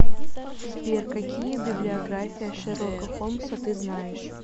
сбер какие библиография шерлока холмса ты знаешь